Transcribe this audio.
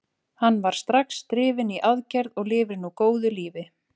Hann var strax drifinn í aðgerð og lifir nú góðu lífi.